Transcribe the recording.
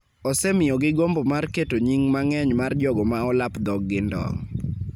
osemiyogi gombo mar keto nying� mang�eny mar jogo ma olap dhog-gi ndong'